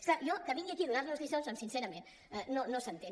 és clar jo que vingui aquí a donar·nos lliçons doncs sincerament no s’entén